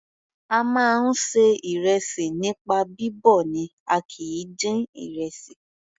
A máa ń ṣe ìrẹsì nípa bíbọ̀ ni a kìí dín ìrẹsì.